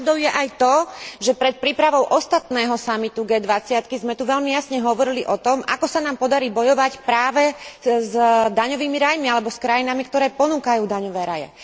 Pravdou je však aj to, že pred prípravou posledného samitu G20 sme tu veľmi jasne hovorili o tom, ako sa nám podarí bojovať práve s daňovými rajmi alebo s krajinami, ktoré ponúkajú daňové raje.